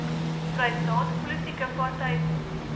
vrystaat politieke partyfonds